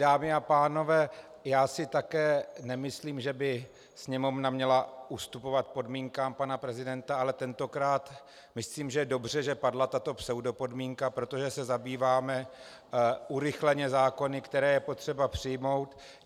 Dámy a pánové, já si také nemyslím, že by Sněmovna měla ustupovat podmínkám pana prezidenta, ale tentokrát myslím, že je dobře, že padla tato pseudopodmínka, protože se zabýváme urychleně zákony, které je potřeba přijmout.